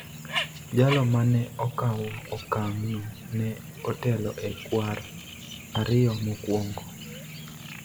Jalo ma ne okawo okang�no ne otelo e kwar ariyo mokwongo,